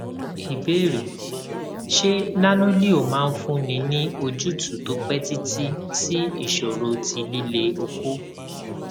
ìbéèrè ṣé nanoleo máa fúnni ní ojútùú tó pẹ títí sí ìṣòro ti lile oko